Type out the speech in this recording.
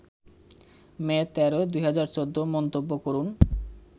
মে ১৩, ২০১৪মন্তব্য করুন